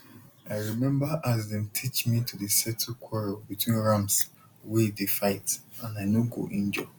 i remember as dem teach me to dey settle quarrel between rams wey dey fight and i no go injure